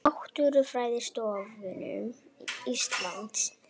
Náttúrufræðistofnun Íslands.